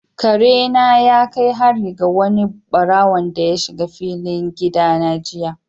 Kare na ya kai hari ga wani ɓarawonda ya shiga filin gida na jiya.